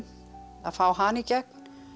að fá hana í gegn